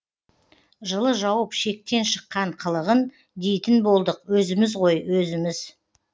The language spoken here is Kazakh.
жылы жауып шектен шыққан қылығын дейтін болдық өзіміз ғой өзіміз